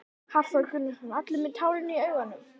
Hafþór Gunnarsson: Allir með tárin í augunum?